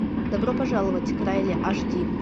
добро пожаловать к райли аш ди